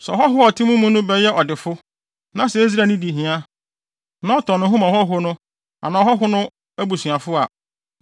“ ‘Sɛ ɔhɔho a ɔte mo mu no bɛyɛ ɔdefo, na sɛ Israelni di hia, na ɔtɔn ne ho ma ɔhɔho no anaa ɔhɔho no abusuafo a,